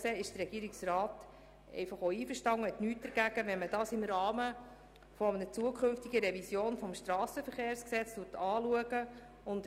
Der Regierungsrat hat nichts dagegen, dies im Rahmen einer zukünftigen Revision des Kantonalen Strassenverkehrsgesetzes (KSVG) anzuschauen.